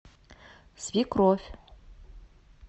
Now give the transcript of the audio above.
свекровь